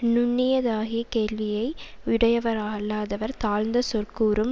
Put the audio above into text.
நுண்ணியதாகிய கேள்வியை யுடையரவரல்லாதவர் தாழ்ந்த சொற்கூறும்